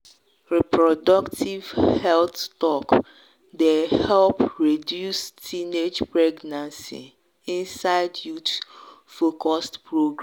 reproductive health talk dey help reduce teenage pregnancy inside youth-focused programs.